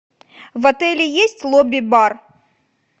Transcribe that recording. в отеле есть лобби бар